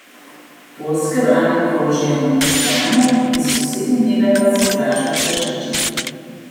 Poljske vrane krožijo nad pokrajino, iz sosednje njive pa se oglašajo prašiči.